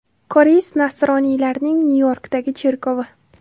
Koreys nasroniylarining Nyu-Yorkdagi cherkovi.